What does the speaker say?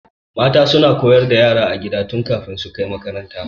Mata suna koyar da yara a gida tun kafin su kai makaranta.